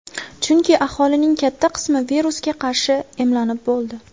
Chunki aholining katta qismi virusga qarshi emlanib bo‘ldi.